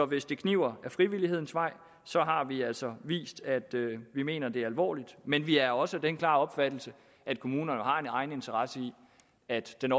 hvis det kniber ad frivillighedens vej så har vi altså vist at vi mener det alvorligt men vi er også af den klare opfattelse at kommunerne har en egeninteresse i at den